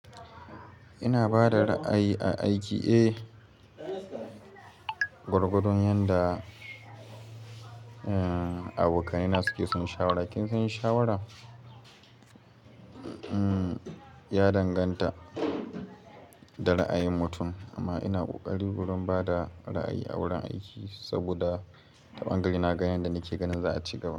Ina bada ra'ayi a aiki? Eh, gwargwadon yanda abokanai na suke son shawara. Kin san shawara ya danganta da ra'ayin mutum amma ina ƙoƙari wurin bada ra'ayi a wurin aiki saboda ta ɓangare na ganin da nike ganin za a ci gaba.